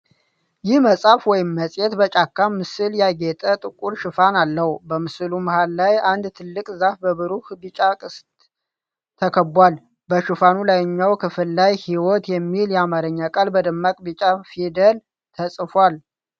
ይህ መጽሐፍ ወይም መጽሔት በጫካ ምስል ያጌጠ ጥቁር ሽፋን አለው። በምስሉ መሃል ላይ አንድ ትልቅ ዛፍ በብሩህ ቢጫ ቅስት ተከቧል። በሽፋኑ ላይኛው ክፍል ላይ "ሕይወት" የሚል የአማርኛ ቃል በደማቅ ቢጫ ፊደል ተጽፏል።